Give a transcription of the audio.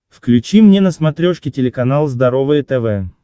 включи мне на смотрешке телеканал здоровое тв